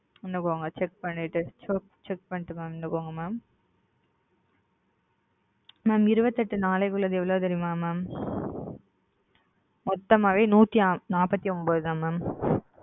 check பண்ணிட்டு சொல்ற mam இருபத்தியெட்டு நாட்களுக்கு உள்ளது எவ்ளோ தெரியுமா mam மொத்தமே நூத்தி நாற்பத்தி ஒன்பதுருப mam